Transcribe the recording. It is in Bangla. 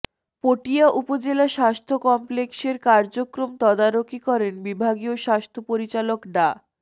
পটিয়া উপজেলা স্বাস্থ্য কমপ্লেক্সের কার্যক্রম তদারকি করেন বিভাগীয় স্বাস্থ্য পরিচালক ডা